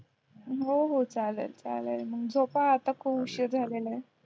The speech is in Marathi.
हो हो चालेल चालेल मग झोप आता खूप उशीर झालेलाय